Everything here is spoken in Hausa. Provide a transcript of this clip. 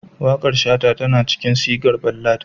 Waƙar Shata tana cikin sigar ballad